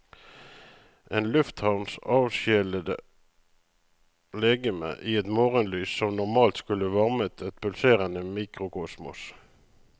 En lufthavns avsjelede legeme i et morgenlys som normalt skulle varmet et pulserende mikrokosmos.